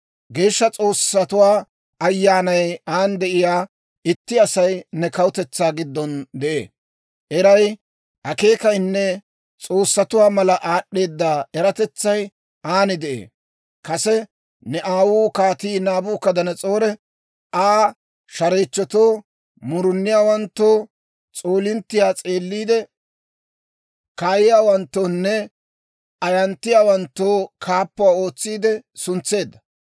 Geeshsha s'oossatuwaa ayyaanay aan de'iyaa itti Asay ne kawutetsaa giddon de'ee. Eray, akeekayinne s'oossatuwaa mala aad'd'eeda eratetsay aan de'ee. Kase ne aawuu Kaatii Naabukadanas'oori Aa shareechchotoo, muruniyaawanttoo, s'oolinttiyaa s'eeliide kaayiyaawanttoonne ayanttiyaawanttoo kaappuwaa ootsiide suntseedda.